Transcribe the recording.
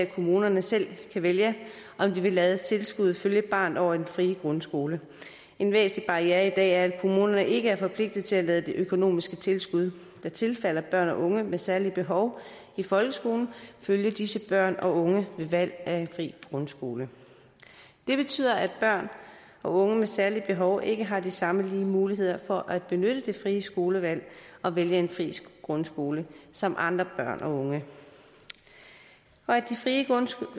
kommunerne selv kan vælge om de vil lade tilskuddet følge barnet over i den frie grundskole en væsentlig barriere i dag er at kommunerne ikke er forpligtet til at lade det økonomiske tilskud der tilfalder børn og unge med særlige behov i folkeskolen følge disse børn og unge ved valg af en fri grundskole det betyder at børn og unge med særlige behov ikke har de samme muligheder for at benytte det frie skolevalg og vælge en fri grundskole som andre børn og unge og at de frie grundskoler